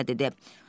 İya-İya dedi.